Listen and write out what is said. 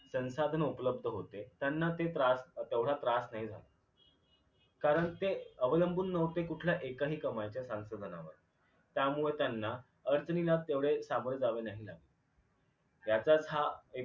संसाधन उपलब्ध होते त्यांना ते त्रास तेवढा त्रास नाही झाला कारण ते अवलंबून न्हवते कुठल्याही एकाही कमाईच्या संसाधनांवर त्यामुळे त्यांना अडचणींना तेवढे सामोरे जावे नाही लागले त्याचाच हा